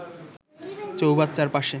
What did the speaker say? চৌবাচ্চার পাশে